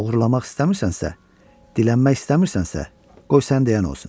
Oğurlamaq istəmirsənsə, dilənmək istəmirsənsə, qoy sən deyən olsun.